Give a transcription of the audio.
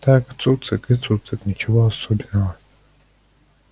так цуцик и цуцик ничего особенного